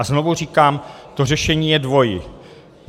A znovu říkám, to řešení je dvojí.